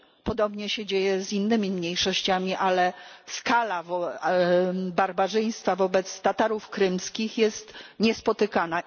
Podobnie dzieje się z innymi mniejszościami, ale skala barbarzyństwa wobec Tatarów krymskich jest niespotykana.